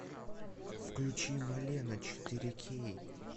включи малена четыре кей